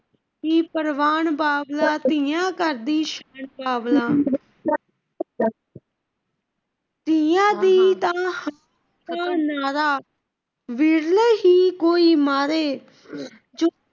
ਪ੍ਰਵਾਨ ਬਾਬਲਾ, ਧੀਆਂ ਘਰ ਦੀ ਸ਼ਾਨ ਬਾਬਲਾ,